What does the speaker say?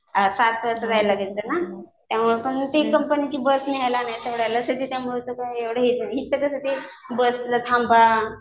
सात तास करावं लागायचं ना. ते कंपनीची बस न्यायला सोडायला असायची त्यामुळं काय वाटत नव्हतं इथं कसं ते बस ला थांबा